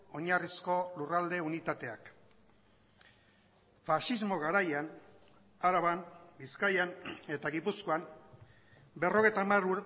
oinarrizko lurralde unitateak faxismo garaian araban bizkaian eta gipuzkoan berrogeita hamar